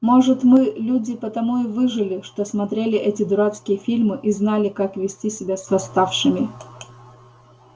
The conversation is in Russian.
может мы люди потому и выжили что смотрели эти дурацкие фильмы и знали как вести себя с восставшими